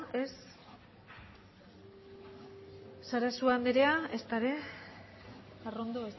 ez sarasua anderea ezta ere arrondo